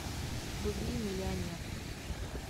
вруби миллионер